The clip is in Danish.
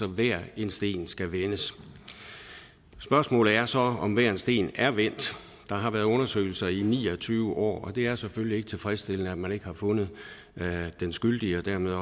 hver en sten skal vendes spørgsmålet er så om hver en sten der har været undersøgelser i ni og tyve år og det er selvfølgelig ikke tilfredsstillende at man ikke har fundet den skyldige og dermed